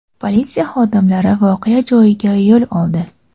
Politsiya xodimlari voqea joyiga yo‘l oldi.